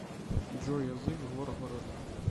джой язык горгород